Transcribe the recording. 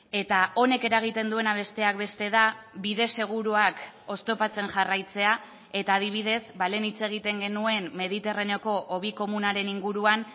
eta honek eragiten duena besteak beste da bide seguruak oztopatzen jarraitzea eta adibidez ba lehen hitz egiten genuen mediterraneoko hobi komunaren inguruan